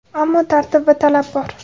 Ammo tartib va talab bor.